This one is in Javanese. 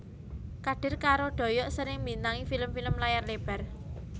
Kadir karo Doyok sering mbintangi film film layar lebar